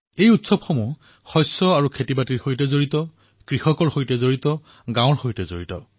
এই উৎসৱসমূহ কোনোবা নহয় কোনোবা ফালে শস্য তথা খেতিবাতিৰ সৈতে অথবা কৃষক গাঁও আদিৰ সৈতে জড়িত হয়